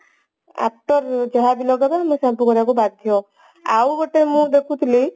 after ଯାହାବି ଲଗେଇବ ଆମେ shampoo କରିବାକୁ ବାଧ୍ୟ ଆଉ ଗୋଟେ ମୁଁ ଦେଖୁଥିଲି